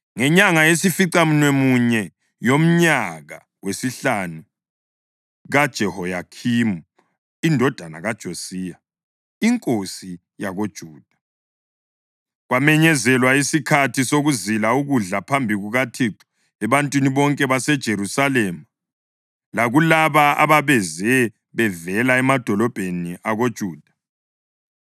Ngenyanga yesificamunwemunye yomnyaka wesihlanu kaJehoyakhimi indodana kaJosiya inkosi yakoJuda, kwamenyezelwa isikhathi sokuzila ukudla phambi kukaThixo ebantwini bonke baseJerusalema lakulaba ababeze bevela emadolobheni akoJuda.